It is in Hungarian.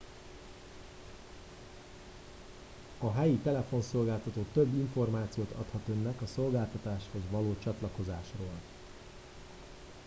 a helyi telefonszolgáltató több információt adhat önnek a szolgáltatáshoz való csatlakozásról